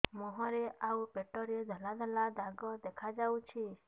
ମୁହଁରେ ଆଉ ପେଟରେ ଧଳା ଧଳା ଦାଗ ଦେଖାଯାଉଛି